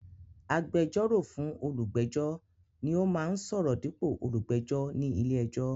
Agbẹjọ́rò fún olùgbẹ́jọ́ ni ó máa ń sọ̀rọ̀ dípò olùgbẹ́jọ ní ilé-ẹjọ́.